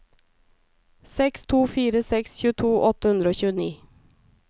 seks to fire seks tjueto åtte hundre og tjueni